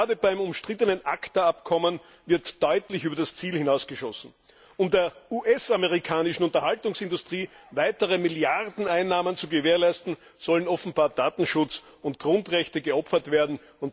Gerade beim umstrittenen ACTA Abkommen wird deutlich über das Ziel hinausgeschossen. Um der US amerikanischen Unterhaltungsindustrie weitere Milliardeneinnahmen zu gewährleisten, sollen offenbar Datenschutz und Grundrechte geopfert werden.